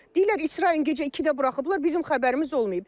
Deyirlər İsrayın gecə ikidə buraxıblar, bizim xəbərimiz olmayıb.